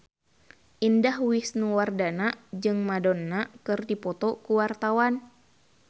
Indah Wisnuwardana jeung Madonna keur dipoto ku wartawan